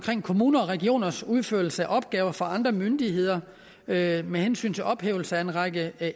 kommuner og regioners udførelse af opgaver for andre myndigheder med med hensyn til ophævelse af en række